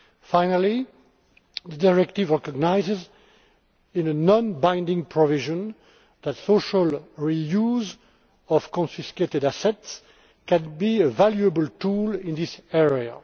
Finally, the directive recognises, in a non binding provision, that the social reuse of confiscated assets can be a valuable tool in this area.